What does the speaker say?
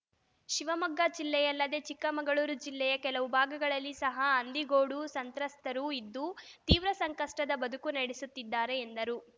ಶಿವಮೊಗ್ಗ ಜಿಲ್ಲೆಯಲ್ಲದೆ ಚಿಕ್ಕಮಗಳೂರು ಜಿಲ್ಲೆಯ ಕೆಲವು ಭಾಗಗಳಲ್ಲಿ ಸಹ ಹಂದಿಗೋಡು ಸಂತ್ರಸ್ತರು ಇದ್ದು ತೀವ್ರ ಸಂಕಷ್ಟದ ಬದುಕು ನಡೆಸುತ್ತಿದ್ದಾರೆ ಎಂದರು